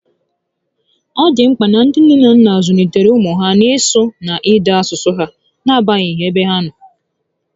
Ọ dị mkpa na ndị nne na nna zụlitere ụmụ ha n'isụ na n'ide asụsụ ha n'agbanyeghị ebe ha nọ